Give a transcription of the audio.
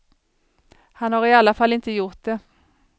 Han har i alla fall inte gjort det.